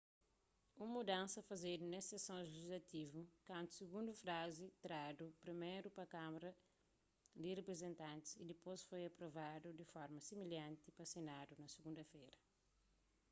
un mudansa fazedu nes sekson lejislativu kantu sigundu frazi tradu priméru pa kámara di riprizentantis y dipôs foi aprovadu di forma similhanti pa senadu na sigunda-fera